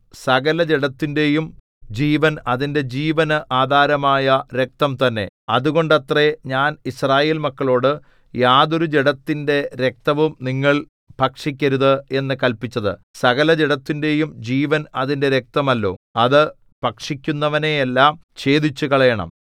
സകലജഡത്തിന്റെയും ജീവൻ അതിന്റെ ജീവന് ആധാരമായ രക്തം തന്നെ അതുകൊണ്ടത്രേ ഞാൻ യിസ്രായേൽ മക്കളോട് യാതൊരു ജഡത്തിന്റെ രക്തവും നിങ്ങൾ ഭക്ഷിക്കരുത് എന്നു കല്പിച്ചത് സകലജഡത്തിന്റെയും ജീവൻ അതിന്റെ രക്തമല്ലോ അത് ഭക്ഷിക്കുന്നവനെയെല്ലാം ഛേദിച്ചുകളയണം